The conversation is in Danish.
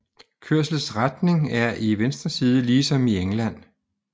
Kørselsretning er i venstre side ligesom i England